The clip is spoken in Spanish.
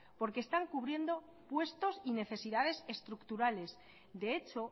porque están cubriendo puestos y necesidades estructurales de hecho